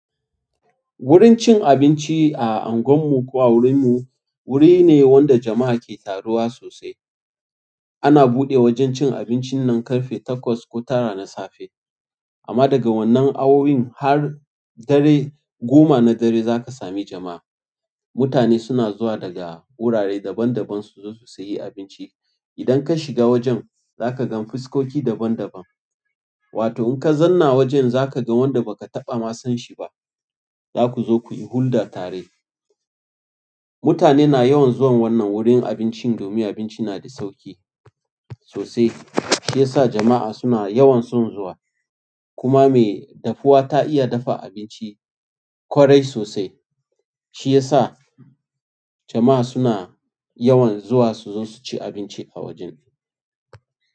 Wurin cin abinci a unguwan mu ko a wurin mu ne wanda jama'a ke taruwa sosai. Ana buɗe wajen cin abincin nan ƙarfe takwas ko tara na safe amma daga wannan awowin har dare goma na dare zaka sami jama'a. Mutane suna zuwa daga wurare daban-daban su zo su sayi abinci. Idan ka shiga wajen zaka gan fuskoki daban-daban. Wato in ka zanna wajen zaka ga wanda ba ka taɓa ma san shi ba. Zakuzo kuyi hulɗa tare mutane na yawan zuwan wannan wurin abincin domin abinci na da sauƙi sosai, shi ya sa jama'a suna yawan son zuwa. Kuma mai dafuwa ta iya dafa abinci ƙwarai sosai. Shi ya sa jama'a suna yawan zuwa suzo suci abinci a wajen.